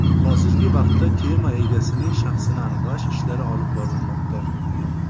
Hozirgi vaqtda kema egasining shaxsini aniqlash ishlari olib borilmoqda.